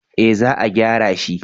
eh za a gyara shi